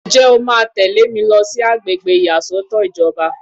Ǹjẹ́ o máa tẹ̀lé mi lọ sí àgbègbè ìyàsọ́tọ̀ ìjọba?